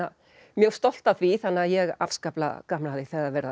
mjög stolt af því þannig að ég hef afskaplega gaman af því þegar verið